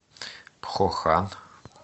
пхохан